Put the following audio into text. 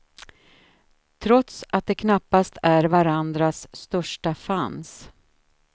Trots att de knappast är varandras största fans.